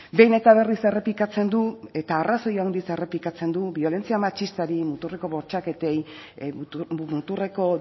behin eta berriz errepikatzen du eta arrazoi handiz errepikatzen du biolentzia matxistari muturreko bortxaketei muturreko